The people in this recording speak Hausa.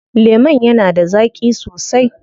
Lemon yana da zaƙi sosai.